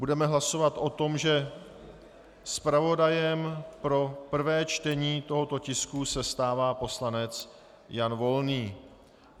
Budeme hlasovat o tom, že zpravodajem pro prvé čtení tohoto tisku se stává poslanec Jan Volný.